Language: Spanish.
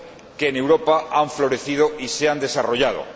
que en Europa han florecido y se han desarrollado.